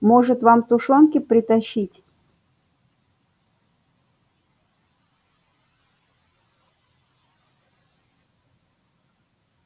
может вам тушёнки притащить